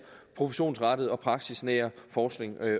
professionsrettede og praksisnære forskning